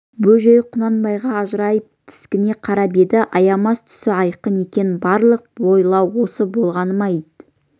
бөжей құнанбайға ажырайып тіксіне қарап еді аямас түсі айқын екен барлық байлау осы болғаны ма ит